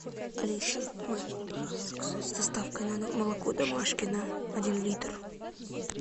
алиса можешь мне пожалуйста заказать с доставкой на дом молоко домашкино один литр